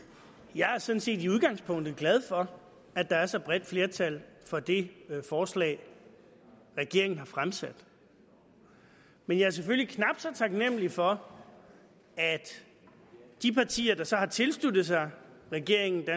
jeg er sådan set i udgangspunktet glad for at der er så bredt flertal for det forslag regeringen har fremsat men jeg er selvfølgelig knap så taknemlig for at de partier der så har tilsluttet sig regeringens